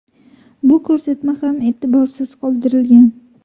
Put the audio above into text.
Bu ko‘rsatma ham e’tiborsiz qoldirilgan.